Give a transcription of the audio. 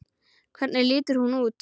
Hvernig lítur hún út?